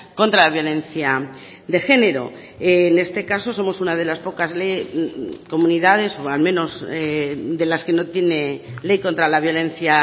contra la violencia de género en este caso somos una de las pocas comunidades o al menos de las que no tiene ley contra la violencia